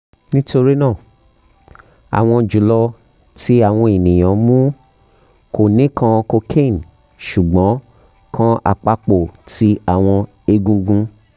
nitorina awọn julọ ti awọn eniyan mu ko nikan cocaine sugbon kan apapo ti awọn egungun